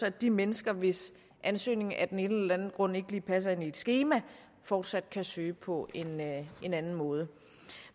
at de mennesker hvis ansøgning af den ene eller den anden grund ikke lige passer ind i et skema fortsat kan søge på en anden måde